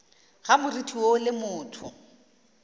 ga moriti woo le motho